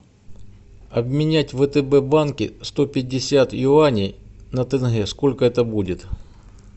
обменять в втб банке сто пятьдесят юаней на тенге сколько это будет